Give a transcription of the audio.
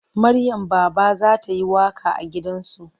Maryam Baba za ta yi waƙa a gidan zu.